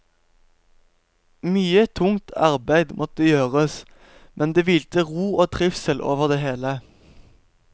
Mye tungt arbeid måtte gjøres, men det hvilte ro og trivsel over det hele.